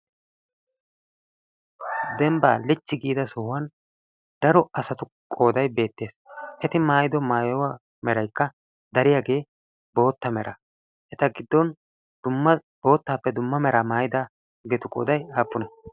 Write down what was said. dembbaa lichchi giida sohuwan daro asatu qooday beettees eti maayido maayuwa meraikka dariyaagee bootta mera eta giddon dumma boottaappe dumma meraa maayidaageetu qooday aappune?